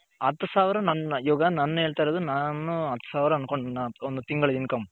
ಹತ್ತು ಸಾವಿರ ಇವಾಗ ನನ್ನ ನಾನು ಹೇಳ್ತಿರೋದು ಹತ್ತು ಸಾವಿರ ಹನ್ಕೊಣ್ಣನ income